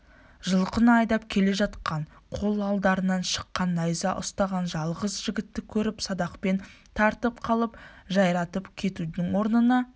жылқыны айдап келе жатқан қол алдарынан шыққан найза ұстаған жалғыз жігітті көріп садақпен тартып қалып жайратып кетудің орнына